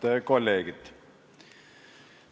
Head kolleegid!